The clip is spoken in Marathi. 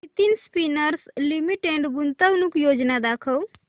नितिन स्पिनर्स लिमिटेड गुंतवणूक योजना दाखव